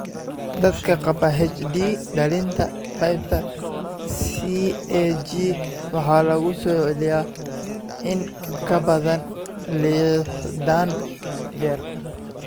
Dadka qaba HD dhallinta, qaybta CAG waxaa lagu soo celiyaa in ka badan lixdan jeer.